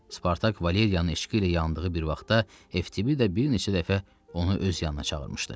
Spartak Valeriyanın eşqi ilə yandığı bir vaxtda Eftibida bir neçə dəfə onu öz yanına çağırmışdı.